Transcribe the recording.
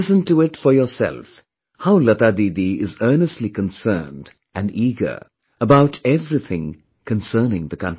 Listen to it for yourself how Lata Didi is earnestly concerned and eager about everything concerning the country